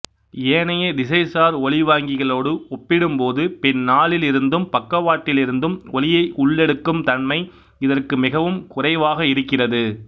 ஏனைய திசைசார் ஒலிவாங்கிகளோடு ஒப்பிடும் போது பின்னாலிருந்தும் பக்கவாட்டிலிருந்தும் ஒலியை உள்ளெடுக்கும் தன்மை இதற்கு மிகவும் குறைவாக இருக்கிறது